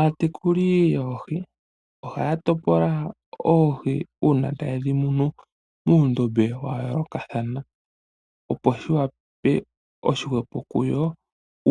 Aatekuli yoohi, ohaya topola oohi uuna tayedhi munu, muundombe wayoolokathana, opo shikale oshihwepo kuyo,